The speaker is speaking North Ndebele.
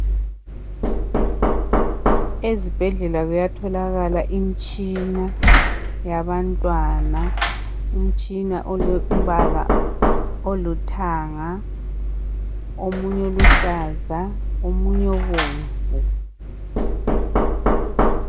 Ezibhedlela kuyatholakala imitshina yabantwana imitshina elombala olithanga omunye oluhlaza omunye obomvu